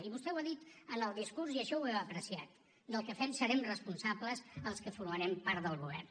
i vostè ho ha dit en el discurs i això ho he apreciat del que fem serem responsables els que formarem part del govern